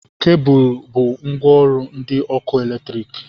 Kebụl bụ ngwaọrụ ndị ọkụ latriki